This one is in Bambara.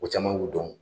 Ko caman k'u dɔn